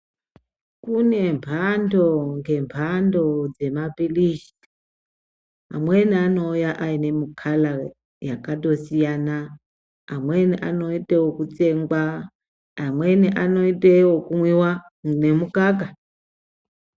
Kune mbando ngembando dzemapilizi, amweni anouya ayinemukala yakatosiyana, amweni anoyitawo wekutsengwa, amweni anoyitewo okumwiwa nemukaka.